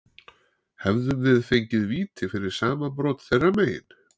Hefðum við fengið víti fyrir sama brot þeirra megin?